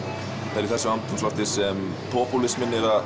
það er í þessu andrúmslofti sem popúlisminn er að